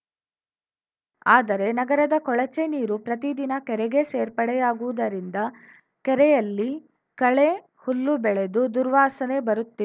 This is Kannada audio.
ಆದರೆ ನಗರದ ಕೊಳಚೆ ನೀರು ಪ್ರತಿ ದಿನ ಕೆರೆಗೆ ಸೇರ್ಪಡೆಯಾಗುತ್ತಿರುವುದರಿಂದ ಕೆರೆಯಲ್ಲಿ ಕಳೆ ಹುಲ್ಲು ಬೆಳೆದು ದುರ್ವಾಸನೆ ಬರುತ್ತಿ